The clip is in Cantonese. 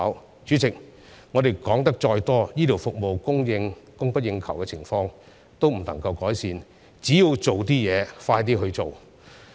代理主席，我們說得再多，醫療服務供不應求的情況也不能夠改善，只有落實工作，加快執行才可成事。